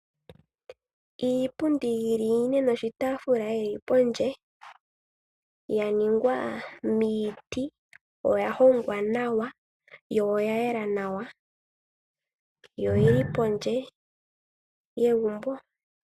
Iipundi yili ine noshitaafula shili pondje. Oyaningwa miiti, oya hongwa nawa, yo oya yela nawa yo oyili pondje yegumbo.